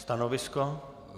Stanovisko?